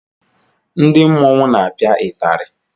Ndị mmọnwu na-apia itari.